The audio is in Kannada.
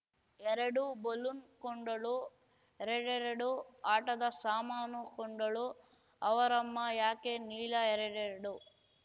ಎರಡು ಬಲೂನ್‌ ಕೊಂಡಳು ಎರಡೆರಡು ಆಟದ ಸಾಮಾನು ಕೊಂಡಳು ಅವರಮ್ಮ ಯಾಕೆ ನೀಲಾ ಎರಡೆರಡು